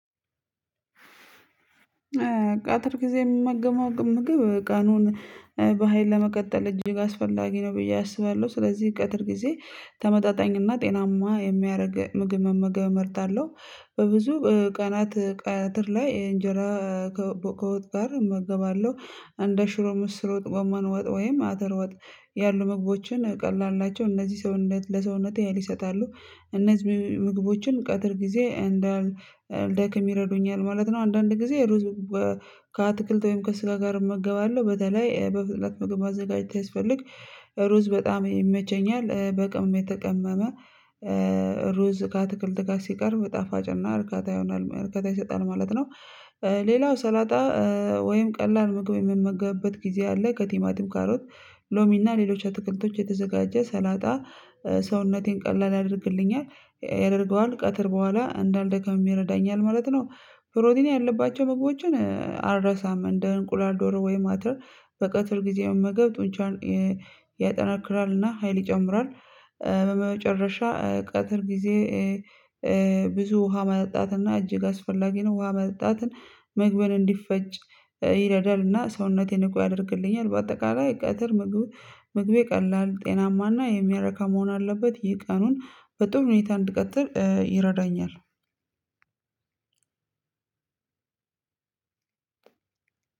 ቀትር ጊዜ የምመገበው ምግብ ቀኑን በሃይል ለመቀጠል እጅግ አስፈላጊ ነው ብዬ አስባለሁ ስለዚህ ቀትር ጊዜ ተመጣጣኝና ጤናማ የሚያደርግ ምግብ መመገብ እመርጣለሁ። በብዙ ቀናት ቀትር ላይ እንጀራ ከወጥ ጋር እመገባለሁ እንደ ሽሮ ምስር ወጥ ጎመን ወጥ ወይም አተር ወጥ ያሉ ምግቦችን ቀላል ናቸው እነዚህ ሰውነት ለሰውነቴ ሀይል ይሰጣሉ እነዚህ ምግቦችን ቀትር ጊዜ እንዳልደክም ይረዱኛል ማለት ነው። አንዳንድ ጊዜ ሩዝ ከአትክልት ወይም ከስጋ ጋር እመገባለሁ በተለይ በፍጥነት ምግብ ማዘጋጀት ሲያስፈልግ ሩዝ በጣም ይመቸኛል በቅመም የተቀመመ ሩዝ ከአትክልት ጋር ሲቀርብ ጣፋጭና እርካታ ይሆናል እርካታ ይሰጣል ማለት ነው። ሌላው ሰላጣ ወይም ቀላል ምግብ የምመገብበት ጊዜ አለ ከቲማቲም ካሮት ሎሚ እና ሌሎች አትክልቶች የተዘጋጀ ሰላጣ ሰውነቴን ቀላል ያደርግልኛል ያደርገዋል ቀትር በኋላ እንዳልደከም ይረዳኛል ማለት ነው። ፕሮቲን ያለባቸው ምግቦችን አልረሳም እንደ እንቁላል ዶሮ ወይም አተር በቀትር ጊዜ መመገብ ጡንቻን ያጠነክራልና ሀይል ይጨምራል። በመጨረሻ ቀትር ጊዜ ውሃ መጠጣትና እጅግ አስፈላጊ ነው ውሃ መጠጣትን ምግብን እንዲፈጭ ይረዳልና ሰውነቴን ንቁ ያደርግልኛል በአጠቃላይ ቀትር ምግብ ምግቤ ቀላል ጤናማና የሚያረካ መሆን አለበት። ይህ ቀኑን በጥሩ ሁኔታ እንድቀጥል ይረዳኛል።